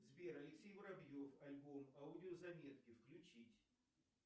сбер алексей воробьев альбом аудиозаметки включить